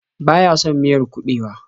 Baya son miyar kuɓewa.